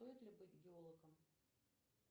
стоит ли быть геологом